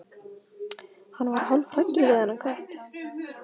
Hann varð hálfhræddur við þennan kött.